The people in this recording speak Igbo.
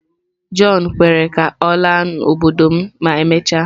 John kwere ka ọ laa n'obodo m ma emechaa.